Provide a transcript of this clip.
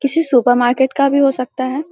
किसी supermarket का भी हो सकता है।